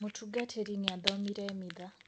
Mũtungatĩri nĩ athomire mitha